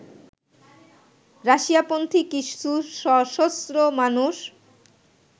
রাশিয়াপন্থী কিছু সশস্ত্র মানুষ